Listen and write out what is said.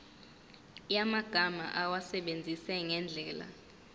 yamagama awasebenzise ngendlela